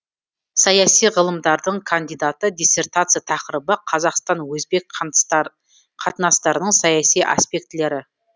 саяси ғылымдардың кандидаты диссертация тақырыбы қазақстан өзбек қатынастарының саяси аспектілері